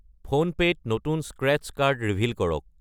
PhonePe' ত নতুন scratch card reveal কৰক।